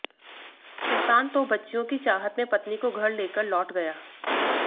सुलतान तो बच्चियों की चाहत में पत्नी को घर लेकर लौट गया